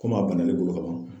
a banna ne don ka ban.